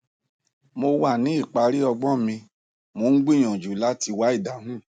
mo wà ní ìparí ọgbọn mi mò ń gbìyànjú láti wá ìdáhùn